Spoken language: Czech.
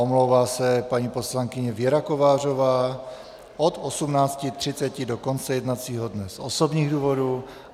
Omlouvá se paní poslankyně Věra Kovářová od 18.30 do konce jednacího dne z osobních důvodů.